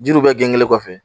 Jiriw bɛ gengenlen kɔfɛ